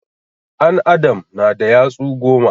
An adam na da yatsu goma